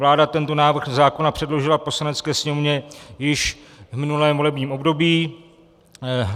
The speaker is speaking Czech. Vláda tento návrh zákona předložila Poslanecké sněmovně již v minulém volebním období.